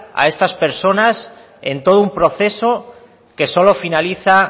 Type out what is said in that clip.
a estas personas en todo un proceso que solo finaliza